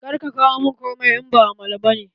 Kar ka kawo mun komai, in ba amala ba ne!